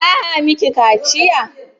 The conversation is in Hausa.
Za a miki kaciya?